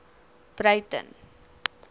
breyten